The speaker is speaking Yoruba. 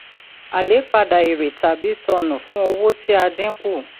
a le padà èrè tàbí sọnù fún owó tí a dín kù.